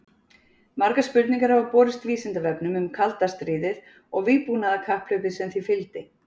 Margar spurningar hafa borist Vísindavefnum um kalda stríðið og vígbúnaðarkapphlaupið sem því fylgdi.